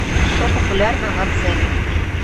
что популярно на дзене